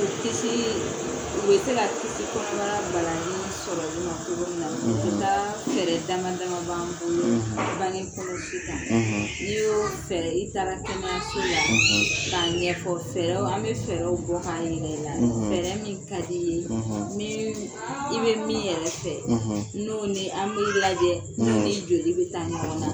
Kisi u bɛ se ka kisi kɔnɔbarabalalen sɔrɔli ma cogo min na, o ti ta fɛrɛ dama dama b'an bolo, bange kɔlɔsi kan n'i y'o fɛ, i taara kɛnɛyaso la ka ɲɛfɔ, fɛɛrɛw, an mi fɛɛrɛ bɔ ka yiri la, fɛɛrɛ min ka di ye i be min fɛ, i bɛ min yɛrɛ fɛ n'o ni an b'i lajɛ n'o ni joli bɛ taa ɲɔgɔn na.